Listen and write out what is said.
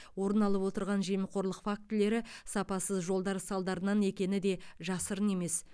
орын алып отырған жемқорлық фактілері сапасыз жолдар салдарынан екені де жасырын емес